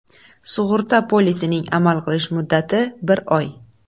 Sug‘urta polisining amal qilish muddati bir oy.